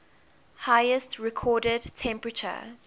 highest recorded temperature